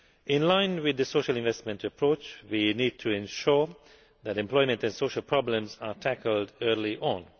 In line with the social investment approach, we need to ensure that employment and social problems are tackled early on.